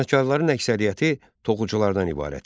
Sənətkarların əksəriyyəti toxuculardan ibarət idi.